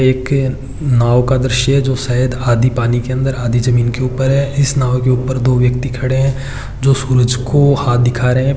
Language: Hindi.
एक नाव का दृश्य हैं जो सायद आधी पानी के अंदर आधी जमीन के ऊपर है इस नाव ऊपर दो व्यक्ति खड़े हैं जो सूरज को हाथ दिखा रहे हैं।